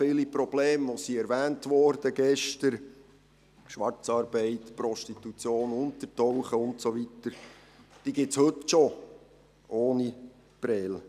Viele der Probleme, die gestern erwähnt wurden – Schwarzarbeit, Prostitution, Untertauchen und so weiter – gibt es schon heute, ohne Prêles.